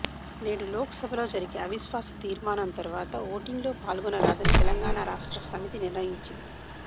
నేడు లోక్ సభలో జరిగే అవిశ్వాస తీర్మానం తరువాత ఓటింగ్ లో పాల్గొనరాదని తెలంగాణ రాష్ట్ర సమితి నిర్ణయించింది